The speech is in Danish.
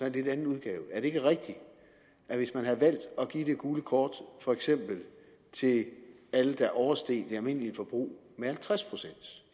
en lidt anden udgave er det ikke rigtigt at hvis man havde valgt at give det gule kort for eksempel til alle der oversteg det almindelige forbrug med halvtreds procent